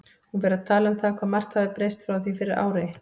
Hún fer að tala um það hvað margt hafi breyst frá því fyrir ári.